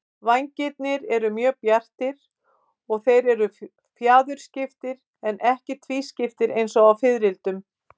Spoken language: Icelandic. Vængirnir eru mjög bjartir og þeir eru fjaðurskiptir en ekki tvískiptir eins og á fiðrildum.